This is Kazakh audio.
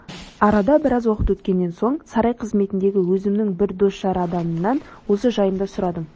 арада біраз уақыт өткен соң сарай қызметіндегі өзімнің бір дос-жар адамымнан осы жайында сұрадым